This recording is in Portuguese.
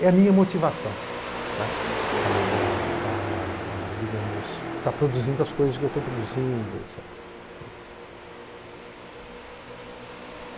É a minha motivação para, para, digamos estar produzindo as coisas que estou produzindo.